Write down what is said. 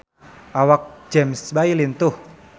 Awak James Bay lintuh